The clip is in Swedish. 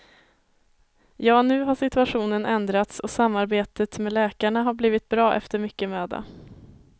Ja, nu har situationen ändrats och samarbetet med läkarna har blivit bra efter mycket möda.